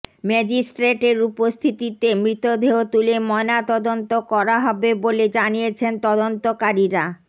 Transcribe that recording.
ম্যাজিস্ট্রেটের উপস্থিতিতে মৃতদেহ তুলে ময়নাতদন্ত করা হবে বলে জানিয়েছেন তদন্তকারীরা